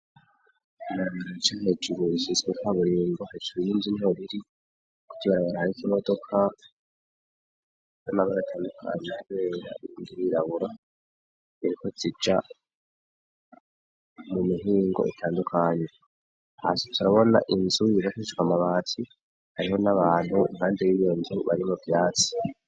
Ibarabara rica hejuru risizwe ikaburimbo hejuru y'inzu niho riri, kw'iryo barabara hariko imodoka y'amabara atandukanye n'ibara ryirabura ziriko zija mu mihingo itandukanye, hasi turabona inzu yubakishijwe amabati, hariho n'abantu impande y'iyo nzu bari mu vyatsi.